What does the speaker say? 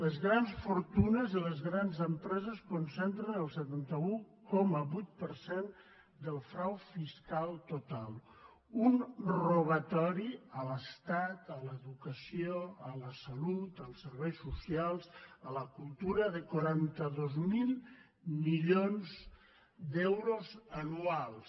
les grans fortunes i les grans empreses concentren el setanta un coma vuit per cent del frau fiscal total un robatori a l’estat a l’educació a la sa·lut als serveis socials a la cultura de quaranta dos mil milions d’euros anuals